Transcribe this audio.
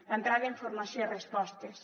d’entrada informació i respostes